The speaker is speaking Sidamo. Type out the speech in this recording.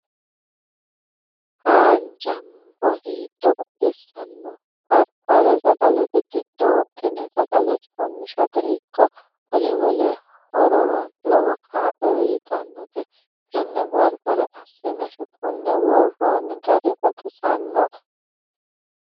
Haanja muro hiitto baxisano, barbare sagalete giddo wodhine sagale coomishate ikko wole wole hororano lowo kaalo uyittanote tene baribare assine shuqune worooni gari baxisinoe.